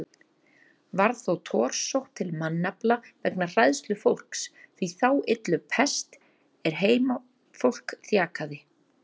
Varð þó torsótt til mannafla vegna hræðslu fólks við þá illu pest er heimafólk þjakaði.